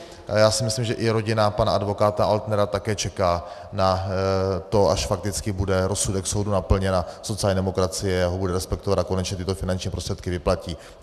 Já si myslím, že i rodina pana advokáta Altnera také čeká na to, až fakticky bude rozsudek soudu naplněn a sociální demokracie ho bude respektovat a konečně tyto finanční prostředky vyplatí.